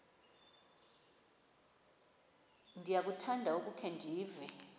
ndiyakuthanda ukukhe ndive